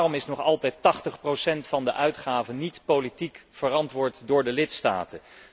Waarom wordt nog altijd 80 van de uitgaven niet politiek verantwoord door de lidstaten?